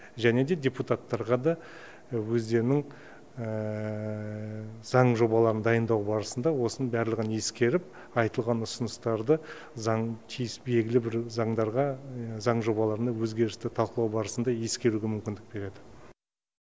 және де депутаттарға да өздерінің заң жобаларын дайындау барысында осының барлығын ескеріп айтылған ұсыныстарды белгілі бір заңдарға заң жобаларына өзгерісті талқылау барысында ескеруге мүмкіндік береді